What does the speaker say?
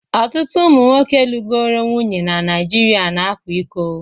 Ọtụtụ ụmụ nwoke lugoro nwunye na Nigeria na-akwa iko.